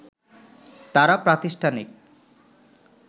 তারা প্রাতিষ্ঠানিক